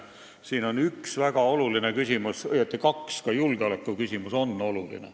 Siin on üks väga oluline küsimus, õieti kaks – ka julgeolekuküsimus on tähtis.